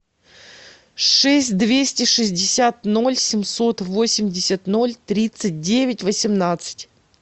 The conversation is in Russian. шесть двести шестьдесят ноль семьсот восемьдесят ноль тридцать девять восемнадцать